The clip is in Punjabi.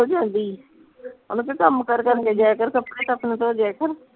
ਨਿਕਲ ਜਾਂਦੀ ਉਹਨੂੰ ਕਹਿ ਕੰਮ ਕਾਰ ਕਰ ਕੇ ਜਾਇਆ ਕਰ ਕੱਪੜੇ ਤੇ ਆਪਣੇ ਧੋ ਦਿਆ ਕਰ